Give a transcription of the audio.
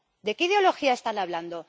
¿De qué ideología están hablando?